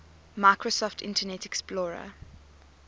microsoft internet explorer